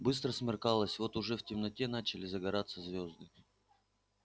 быстро смеркалось вот уже в темноте начали загораться звёзды